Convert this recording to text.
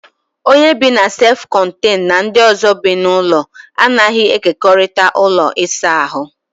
Onye bị na sef kọnteñu na ndị ọzọ bi n'ụlọ a naghị e kekorịta ụlọ ịsa ahụ